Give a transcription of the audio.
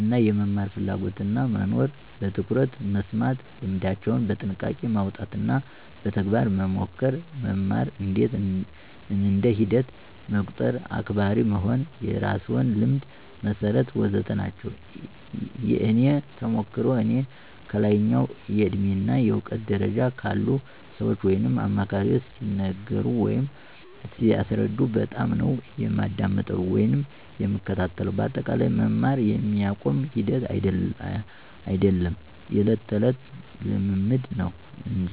እና የመማር ፍላጎትና መኖር፣ በትኩረት መስማት፣ ልምዳቸውን በጥያቄ ማውጣት፣ በተግባር መሞከር፣ መማርን እንደ ሂደት መቁጠር፣ አክባሪ መሆን፣ የራስዎን ልምድ መሠርት... ወዘተ ናቸው። የእኔ ተሞክሮ፦ እኔ ከላይኛው የእድሜ እና እውቀት ደረጃ ካሉ ሰዎች ወይም አማካሪዎች ሲነገሩ ወይም ሲያስረዱ በጣምነው የማዳምጠው ወይም የምከታተለው በአጠቃላይ መማር የሚቆም ሂደት አይዶለም የዕለት ተዕለት ልምምድ እንጂ።